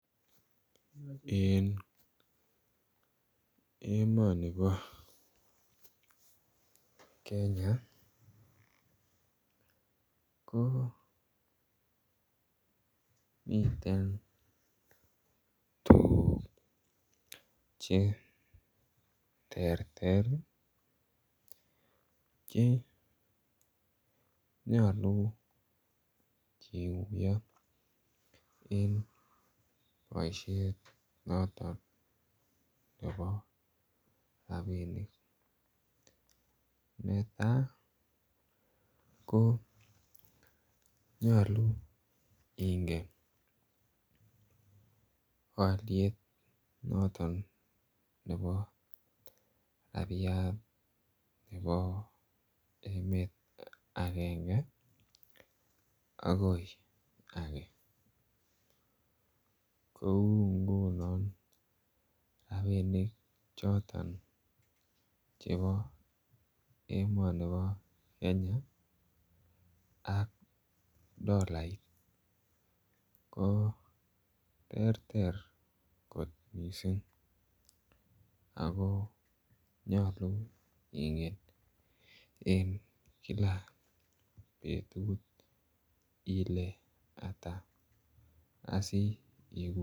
En emoni bo Kenya ko miten tuguk Che terter Che nyolu kiguiyo en boisiet noton nebo rabinik netai ko nyolu ingen alyet noton nebo rabiat noton nebo emet agenge agoi ge kou ngunon rabinik choton chebo emoni bo Kenya ak dolait ko terter kot mising ako nyolu ingen en kila betut ile Ata